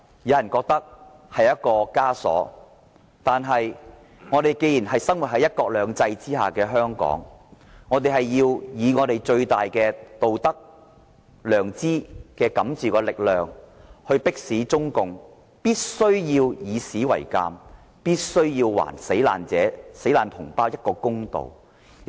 有人覺得這是一個枷鎖，但我們既然生活在"一國兩制"下的香港，便要以最大的道德、良知感召的力量，迫使中共以史為鑒，並且還死難同胞一個公道。